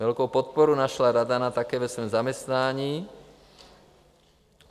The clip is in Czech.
Velkou podporu našla Radana také ve svém zaměstnání.